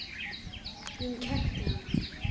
Undrun mín kætti hana.